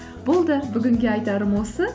болды бүгінге айтарым осы